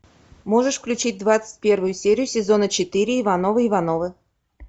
можешь включить двадцать первую серию сезона четыре ивановы ивановы